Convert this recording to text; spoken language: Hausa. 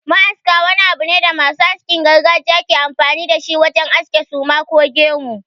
Ma'aska wani abu ne da masu askin gargajiya ke amfani da shi wajen aske suma ko gemu.